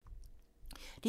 DR2